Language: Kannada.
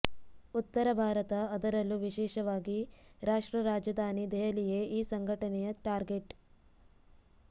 ಉತ್ತರ ಭಾರತ ಅದರಲ್ಲೂ ವಿಶೇಷವಾಗಿ ರಾಷ್ಟ್ರ ರಾಜಧಾನಿ ದೆಹಲಿಯೇ ಈ ಸಂಘಟನೆಯ ಟಾರ್ಗೆಟ್